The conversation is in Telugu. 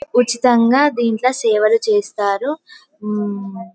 ఉచితంగా దింట్ల సేవలు చేస్తారు. ఉం --